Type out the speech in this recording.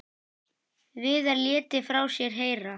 Viðar léti frá sér heyra.